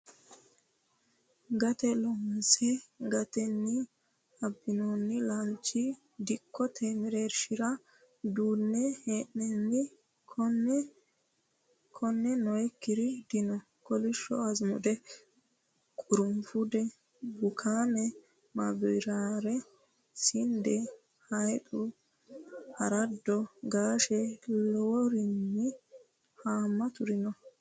Gate loonse gatini abbinonni laalcho dikkote mereershira duune hee'nonni kone noyikkiri dino kolishu azimude qurufude bukame mabibare sinde, haycu arado gashe lawinori hamaturi no.